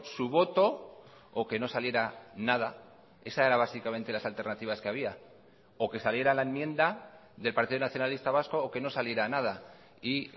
su voto o que no saliera nada esa era básicamente las alternativas que había o que saliera la enmienda del partido nacionalista vasco o que no saliera nada y